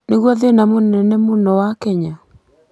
nĩguo thĩĩna mũnene mũno wa Kenya.